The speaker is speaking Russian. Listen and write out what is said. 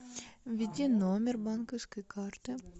введи номер банковской карты